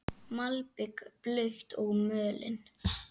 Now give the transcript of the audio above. Malbik blautt og mölin.